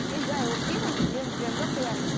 мен жай оқимын күлемін күлемін де қоямын